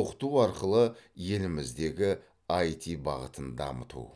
оқыту арқылы еліміздегі іт бағытын дамыту